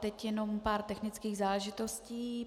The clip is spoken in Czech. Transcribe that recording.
Teď jenom pár technických záležitostí.